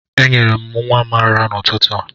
Enyere m nwa m n'ụtụtụ a